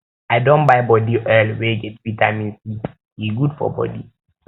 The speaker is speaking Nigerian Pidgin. i don buy body oil wey get vitamin c e good for bodi